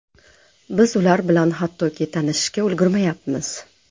Biz ular bilan hattoki tanishishga ulgurmayapmiz.